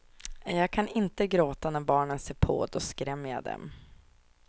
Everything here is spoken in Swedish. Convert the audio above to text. Jag kan inte gråta när barnen ser på, då skrämmer jag dem.